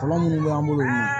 Kɔlɔlɔ minnu b'an bolo